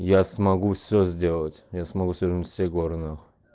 я смогу все сделать я смогу свернуть все горы нахуй